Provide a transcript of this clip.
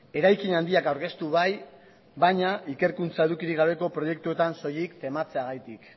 eraikin handiak aurkeztu bai baina ikerkuntza edukirik gabeko proiektuetan soilik tematzeagatik